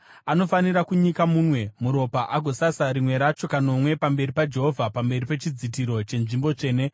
Anofanira kunyika munwe muropa agosasa rimwe racho kanomwe pamberi paJehovha; pamberi pechidzitiro chenzvimbo tsvene.